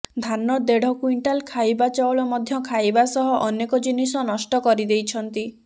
ଧାନ ଦେଢ କୁଇଣ୍ଟାଲ ଖାଇବା ଚାଉଳ ମଧ୍ୟ ଖାଇବା ସହ ଅନେକ ଜିନିଷ ନଷ୍ଟ କରିଦେଇଛନ୍ତି